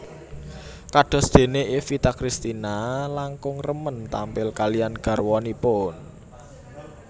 Kados déné Evita Cristina langkung remen tampil kaliyan garwanipun